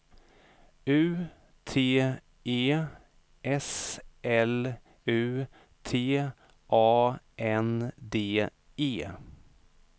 U T E S L U T A N D E